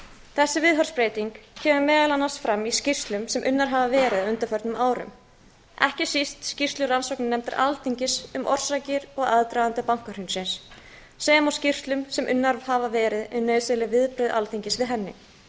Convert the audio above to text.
þessi viðhorfsbreyting kemur meðal annars fram í skýrslum sem unnar hafa verið á undanförnum árum ekki síst skýrslu rannsóknarnefndar alþingis um orsakir og aðdraganda bankahrunsins sem og skýrslum sem unnar hafa verið um nauðsynleg viðbrögð alþingis við henni